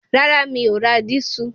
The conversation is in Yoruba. Rárá mi ò ra dísù